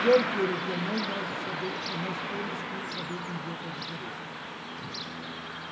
Quer queira ou quer não, nós saber, nós temos que saber conviver com as diferenças gente.